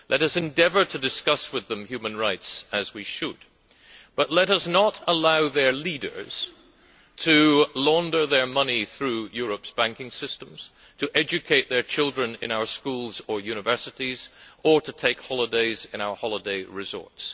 Let us endeavour to discuss with them human rights, as we should, but let us not allow their leaders to launder their money through Europe's banking systems, to educate their children in our schools or universities, or to take holidays in our holiday resorts.